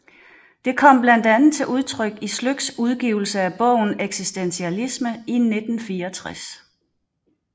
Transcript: Det kom blandt andet til udtryk i Sløks udgivelse af bogen Eksistentialisme i 1964